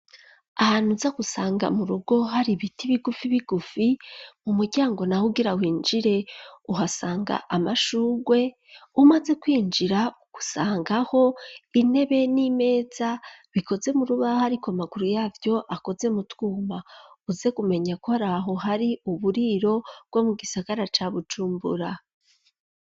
Ahantu uza gusanga mu rugo hari ibiti bigufi bigufi, mu muryango naho ugira winjire uhasanga amashurwe, umaze kwinjira usangaho intebe n'imeza, bikoze mu rubaho ariko amaguru yavyo akoze mu twuma; uze kumenya ko ari aho hari uburiro, bwo mu gisagara ca Bujumbura.